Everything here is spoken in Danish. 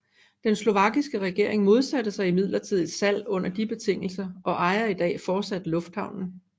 Den slovakiske regering modsatte sig imidlertid et salg under de betingelser og ejer i dag fortsat lufthavnen